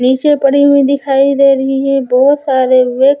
नीचे पड़ी हुई दिखाई दे रही हैं बोहोत सारे वे--